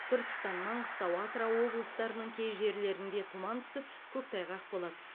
түркістан маңғыстау атырау облыстарының кей жерлерінде тұман түсіп көктайғақ болады